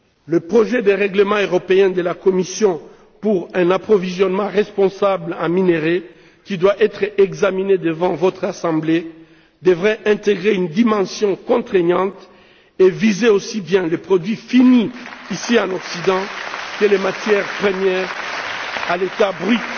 Le projet de règlement européen de la Commission pour un approvisionnement responsable en minerais, qui doit être examiné devant votre Assemblée, devrait intégrer une dimension contraignante et viser aussi bien les produits finis, ici en Occident, que les matières premières à l'état brut